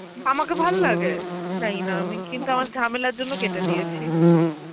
আমাকে ভাললাগে? জানিনা আমি কিন্তু আমার ঝামেলার জন্য কেটে দিয়েছি.